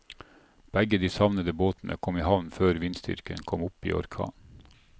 Begge de savnede båtene kom i havn før vindstyrken kom opp i orkan.